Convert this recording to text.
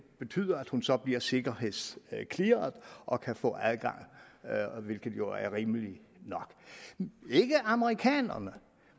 betyder at hun så bliver sikkerhedsclearet og kan få adgang hvilket jo er rimeligt nok ikke amerikanerne